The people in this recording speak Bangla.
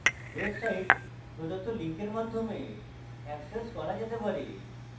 website প্রদত্ত link মাধ্যমে অ্যাক্সেস করা যেতে পারে